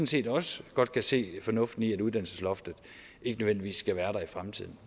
set også godt kan se fornuften i at uddannelsesloftet ikke nødvendigvis skal være der i fremtiden